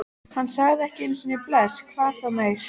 Hann sagði ekki einu sinni bless, hvað þá meir.